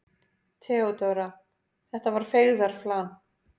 THEODÓRA: Þetta var feigðarflan.